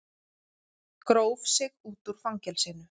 Gróf sig út úr fangelsinu